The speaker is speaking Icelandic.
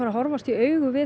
að horfast í augu við